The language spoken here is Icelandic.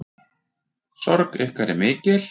Sorg ykkar er mikil.